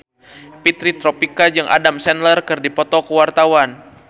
Fitri Tropika jeung Adam Sandler keur dipoto ku wartawan